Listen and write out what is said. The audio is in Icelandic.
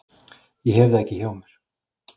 Ég hef það ekki hjá mér.